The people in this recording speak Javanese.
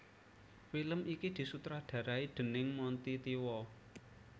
Film iki disutradarai déning Monty Tiwa